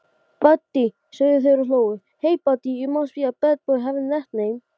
Guðrún átti ekki margra kosta völ sem leikkona á Íslandi.